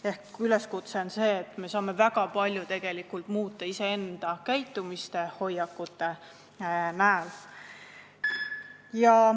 Ehk mu üleskutse on see, et me saame tegelikult väga palju muuta iseenda käitumist ja hoiakuid.